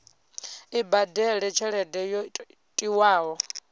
i badele tshelede yo tiwaho